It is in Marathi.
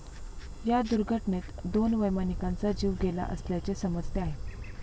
या दुर्घटनेत दोन वैमानिकांचा जीव गेला असल्याचे समजते आहे.